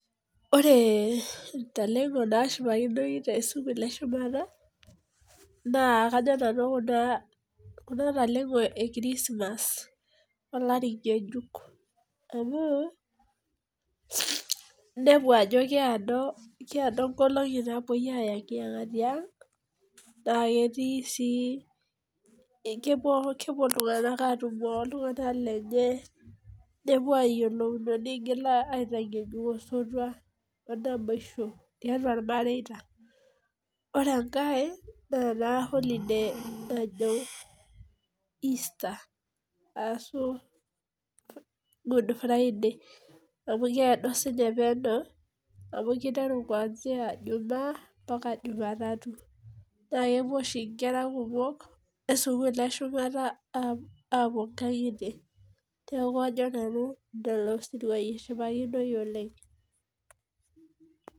ore intalengo naashipakinoi too sukulini eshumata naa kajo nana kuna talengo ekirisimas olari ng'ejuk amu inepu ajo kiado inkolong'i napoi ang naa kepuo iltung'anak aatumo oltung'anak lenye nepuo ayiolouno nengil apuo aitang'ejuk osotua , omaboisho tiatua irmareita , ore enkae ore ena holiday najo Easter aashu good friday amu keedo siniche penye amu kiteru jumaa ompaka juma tatu naa kepuo oshi inkera kumok esukul eshumata apuo inkang'itie neeku kajo nanu lelo sirui eshipakinoi oleng'.